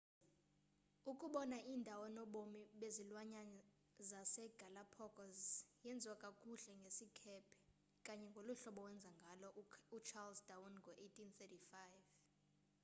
ukubona iindawo nobomi bezilwanyana zase galapagos yenziwa kakuhle ngesikhephe kanye ngoluhlobo wenza ngalo u-charles darwin ngo 1835